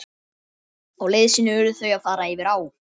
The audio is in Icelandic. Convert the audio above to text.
Á leið sinni urðu þau að fara yfir á.